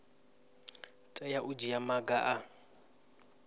tea u dzhia maga a